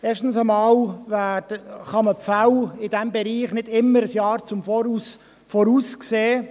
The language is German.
Erstens kann man die Fälle in diesem Bereich nicht immer ein Jahr im Voraus sehen.